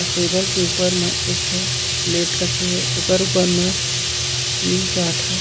अऊ टेबल के ऊपर म एक ठो प्लेट रखे हे ओकर ऊपर म तीन-चार ठो--